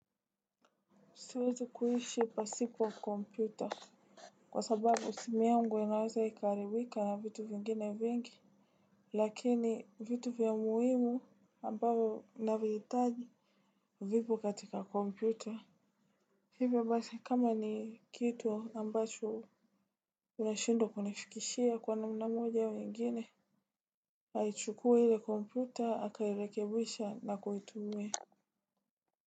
Siwezi kuishi pasipo kompyuta. Kwa sababu, simu yangu inaweza ikaaribika na vitu vingine vingi. Lakini vitu vya muhimu ambavyo navihitaji vipo katika kompyuta. Hivo basi, kama ni kitu ambacho. Unashindwa kunifikishia kwa namna moja au ingine aichukue ile kompyuta akairekebisha na kuitumia.